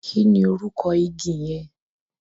Kí ni orúkọ igi yẹn?